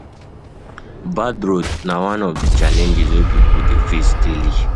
Bad roads na one of the challenges wey pipo de face daily